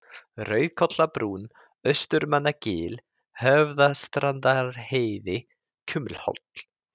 Rauðkollabrún, Austurmannagil, Höfðastrandarheiði, Kumlholt